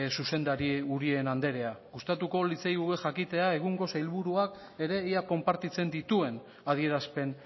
zuzendari andrea gustatuko litzaiguke jakitea egungo sailburuak ere ea konpartitzen dituen adierazpen